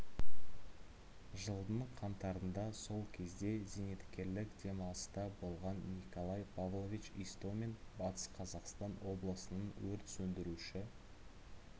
жылдың қаңтарында сол кезде зейнеткерлік демалыста болған николай павлович истомин батыс қазақстан облысының өрт сөндіруші